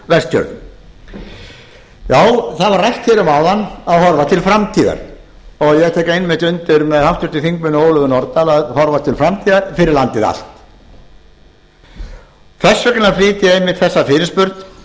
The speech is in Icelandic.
vestfjörðum já það var rætt hér um áðan að horfa til framtíðar og ég tek einmitt undir með háttvirtum þingmanni ólöfu nordal að horfa til framtíðar fyrir landið allt þess vegna flyt ég einmitt þessa fyrirspurn